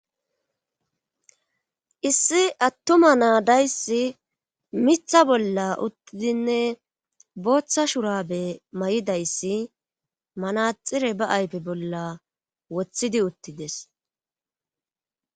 issi attuma naadayssi mitha bolla uttidinne booththa shurabe may7idayssi manaxire ba ayfe bolla woththidi uttides